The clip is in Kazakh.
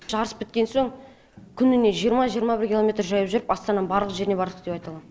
жарыс біткен соң күніне жиырма жиырма бір километр жаяу жүріп астананың барлық жеріне бардық деп айта алам